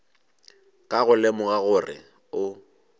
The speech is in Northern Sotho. ka go lemoga gore o